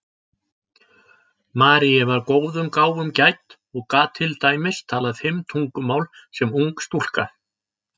Marie var góðum gáfum gædd og gat til dæmis talað fimm tungumál sem ung stúlka.